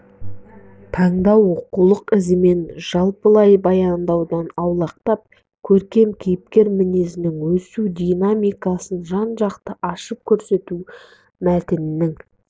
таңдау оқулық ізімен жалпылай баяндаудан аулақтап көркем кейіпкер мінезінің өсу динамикасын жан-жақты ашып көрсетуде мәтіннің